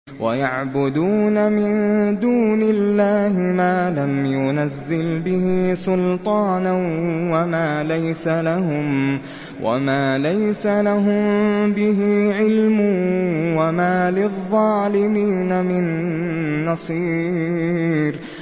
وَيَعْبُدُونَ مِن دُونِ اللَّهِ مَا لَمْ يُنَزِّلْ بِهِ سُلْطَانًا وَمَا لَيْسَ لَهُم بِهِ عِلْمٌ ۗ وَمَا لِلظَّالِمِينَ مِن نَّصِيرٍ